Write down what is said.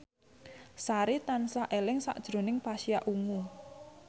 Sari tansah eling sakjroning Pasha Ungu